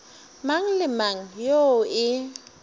mang le mang yoo e